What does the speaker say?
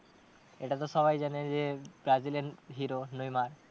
এটা তো সবাই জানে যে brazil এর hero নেইমার।